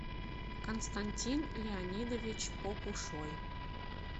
константин леонидович попушой